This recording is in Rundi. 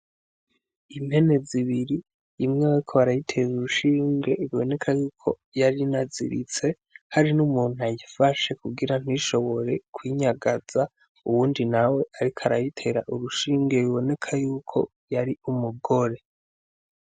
Impene zibiri imweweko barayitera urushinge biboneka yuko yari naziritse hari n'umuntu ayifashe kugira ntishoboye kwinyagaza uwundi nawe, ariko arayitera urushingwe biboneka yuko yari umugore.